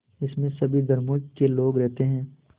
इसमें सभी धर्मों के लोग रहते हैं